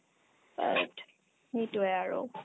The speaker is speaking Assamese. সেইটোয়ে আৰু